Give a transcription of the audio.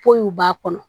Kow b'a kɔnɔ